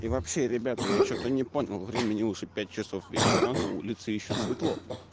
и вообще ребята я что-то не понял времени уже вечера на улице ещё светло